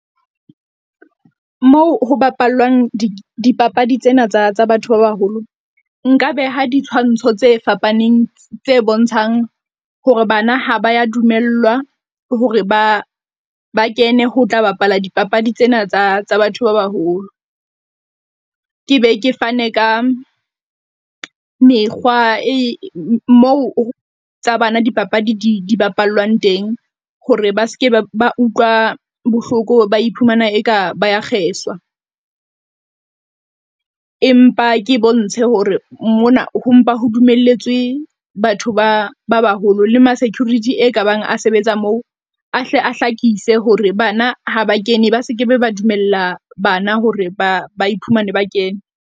Moo ho bapallwang dipapadi tsena tsa batho ba baholo, nka beha ditshwantsho tse fapaneng tse bontshang hore bana ha ba ya dumellwa hore ba ba kene ho tla bapala dipapadi tsena tsa tsa batho ba baholo. Ke be ke fane ka mekgwa e moo tsa bana dipapadi di di bapalwang teng. Hore ba se ke ba utlwa bohloko, ba iphumana e ka ba ya kgeswa. Empa ke bontshe hore mona ho mpa ho dumelletswe batho ba ba baholo le ma security e ka bang a sebetsa moo, a hle a hlakise hore bana ha ba kene ba se ke ba dumella bana hore ba ba iphumane ba kene.